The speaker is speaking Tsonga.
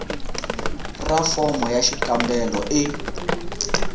ra fomo ya xikombelo e